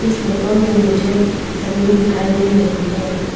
इस फोटो में मुझे जमीन दिखाई दे रही है।